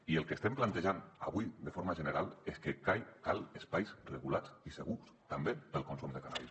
i el que estem plantejant avui de forma general és que calen espais regulats i segurs també per al consum de cànnabis